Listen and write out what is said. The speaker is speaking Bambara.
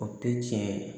O tɛ tiɲɛ ye